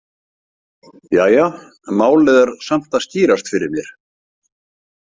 Jæja, málið er samt að skýrast fyrir mér.